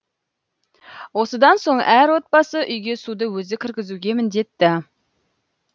осыдан соң әр отбасы үйге суды өзі кіргізуге міндетті